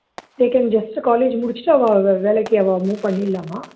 they can just முடிச்சுட்டு அவா வே வேலைக்கு அவா பண்ணிடலாமா